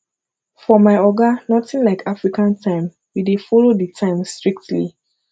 for my oga notin like african time we dey folo di time strictly